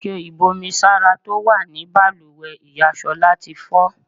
Ike ibú omi sára tó wà ní bàlùwẹ̀ ìyá Ṣọlá tí fọ́.